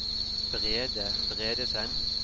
Brede Bredesen